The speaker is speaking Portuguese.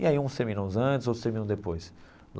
E aí uns terminam antes, outros terminam depois.